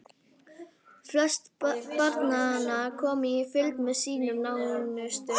Flest barnanna komu í fylgd með sínum nánustu.